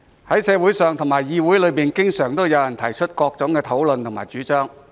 在社會上及議會內，經常有人提出各種討論和主張。